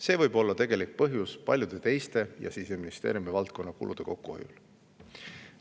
See võib olla Siseministeeriumi ja paljude teiste valdkondade kulude kokkuhoiu tegelik põhjus.